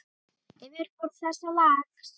Yfirborð þessa lags